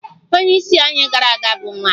Onye isi anyị gara aga bụ nwanyị